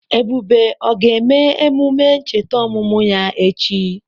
Ebube o ga-eme emume ncheta ọmụmụ ya echi?